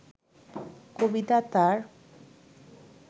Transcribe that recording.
কবিতা তার